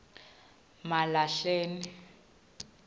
malahleni